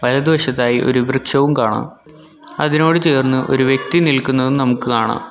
എടത് വശത്തായി ഒരു വൃക്ഷവും കാണാം അതിനോട് ചേർന്ന് ഒരു വ്യക്തി നിൽക്കുന്നതും നമുക്ക് കാണാം.